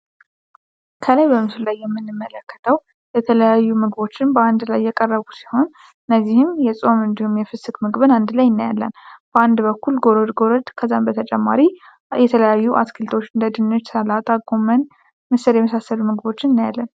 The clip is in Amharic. ከላይ በምሱል ላይ የምንመለከተው የተለያዩ ምግቦችን በአንድ ላይ የቀረቡ ሲሆን እነዚህም የጽም እንዲሁም የፍስክ ምግብን አንድ ላይ ይነያለን በአንድ በኩል ጎሮድ ጎረድ ከዛን በተጨማሪ የተለያዩ አስክልቶች እንደድንሽ ሰላታ ጎመን ምስር የመሳሰሉ ምግቦችን እናያለን።